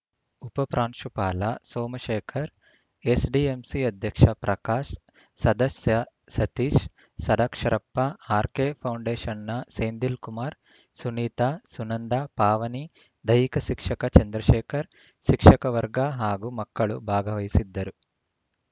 ಉಪ ಪ್ರಾಂಶುಪಾಲ ಸೋಮಶೇಖರ್‌ ಎಸ್‌ಡಿಎಂಸಿ ಅಧ್ಯಕ್ಷ ಪ್ರಕಾಶ್‌ ಸದಸ್ಯ ಸತೀಶ್‌ ಷಡಾಕ್ಷರಪ್ಪ ಆರ್‌ಕೆಫೌಂಡೇಷನ್‌ನ ಸೆನ್‌ದಿಲ್‌ ಕುಮಾರ್‌ ಸುನೀತ ಸುನಂದ ಪಾವನಿದೈಹಿಕ ಶಿಕ್ಷಕ ಚಂದ್ರಶೇಖರ್‌ ಶಿಕ್ಷಕ ವರ್ಗ ಹಾಗೂ ಮಕ್ಕಳು ಭಾಗವಹಿಸಿದ್ದರು